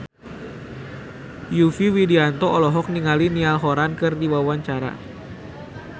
Yovie Widianto olohok ningali Niall Horran keur diwawancara